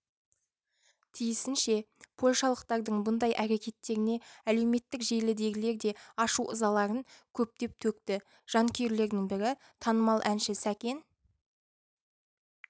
тиісінше польшалықтардың бұндай әрекеттеріне әлеуметтік желідегілер де ашу-ызаларын көптеп төкті жанкүйрлердің бірі танымал әнші сәкен